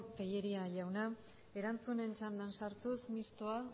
tellería jauna erantzunen txanda sartuz mistoa